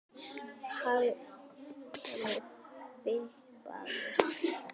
Hallkeli fipaðist flugið en sagði svo